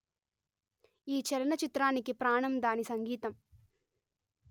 ఈ చలనచిత్రానికి ప్రాణం దాని సంగీతం